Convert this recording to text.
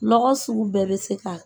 Nɔgɔ sugu bɛɛ bɛ se ka